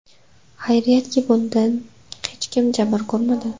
Xayriyatki, bundan hech kim jabr ko‘rmadi.